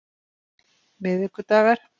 miðvikudagar